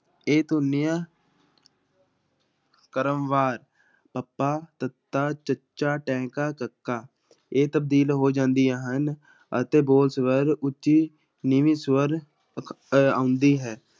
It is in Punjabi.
ਇਹ ਧੁਨੀਆ ਕ੍ਰਮਵਾਰ ਪੱਪਾ, ਤੱਤਾ, ਚੱਚਾ, ਟੈਂਕਾ, ਕੱਕਾ, ਇਹ ਤਬਦੀਲ ਹੋ ਜਾਂਦੀਆਂ ਹਨ ਅਤੇ ਬੋਲ ਸਵਰ ਉੱਚੀ ਨੀਵੀਂ ਸਵਰ ਆਉਂਦੀ ਹੈ।